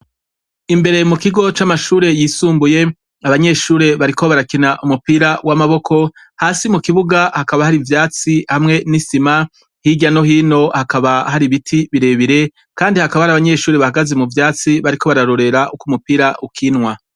Imbere mukigo c'amashure yisumbuye, abanyeshure bariko barakina umupira w'amaboko. Hasi mukibuga hakaba hari ivyatsi hamwe n'isima, hirya no hino hakaba hari ibiti birebire kandi hakaba hari abanyeshure bahagaze muvyatsi bariko bararorera umupira ukinwa.